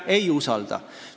Ei usalda!